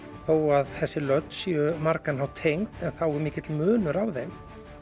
þó að þessi lönd séu margan hátt tengd þá er mikill munur á þeim